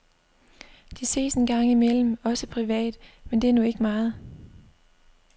De ses engang imellem også privat, men det er nu ikke meget.